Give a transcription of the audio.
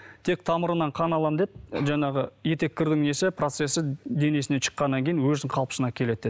тек тамырынан қан аламын деді жаңағы еттеккірдің несі процессі денесінен шыққаннан кейін өзінің қалпысына келеді деді